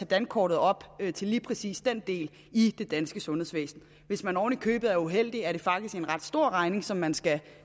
dankortet op til lige præcis den del i det danske sundhedsvæsen hvis man oven i købet er uheldig er det faktisk en ret stor regning som man skal